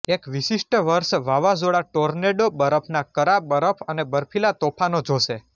એક વિશિષ્ટ વર્ષ વાવાઝોડા ટોર્નેડો બરફના કરા બરફ અને બર્ફીલા તોફાનો જોશે